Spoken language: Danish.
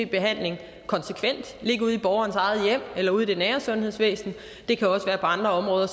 behandling konsekvent ligge ude i borgerens eget hjem eller ude i det nære sundhedsvæsen det kan også være på andre områder